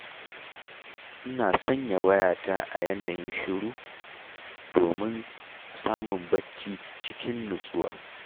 Ina sanya wayata a yanayin shiru, domin domin samun bacci cikin nutsuwa.